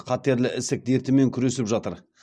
қатерлі ісік дертімен күресіп жатыр